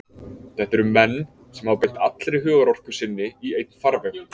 Þetta eru menn sem hafa beint allri hugarorku sinni í einn farveg.